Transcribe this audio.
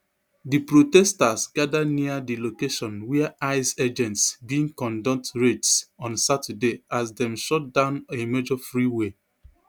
di protesters gada near di location wia ice agents bin conduct raids on saturday as dem shut down a major freeway